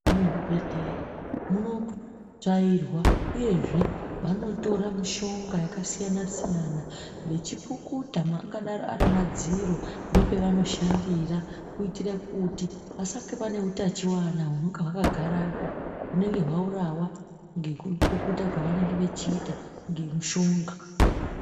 Muzvibhedhleya munotsvaurwa uyezve vanotora mushonga yakasiyana siyana vechipukuta angadaro ari madziro nepevanoshandira kuitire kuti pasange pane utachiona hunenge hwakagarapo hunenge hwaurawa ngekupukuta kwavanenge vechiita ngemishonga.